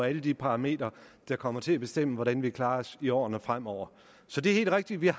alle de parametre der kommer til at bestemme hvordan vi klarer os i årene fremover så det er helt rigtigt at vi har